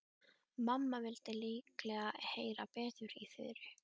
Mamma vildi líklega heyra betur í Þuru.